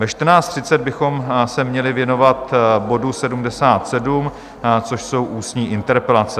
Ve 14.30 bychom se měli věnovat bodu 77, což jsou ústní interpelace.